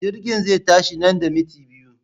Jirgin zai tashi nan da minti biyu.